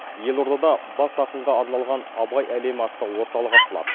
елордада бас ақынға арналған абай әлемі атты орталық ашылады